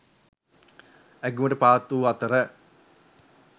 ඇගයුමට පාත්‍ර වූ අතර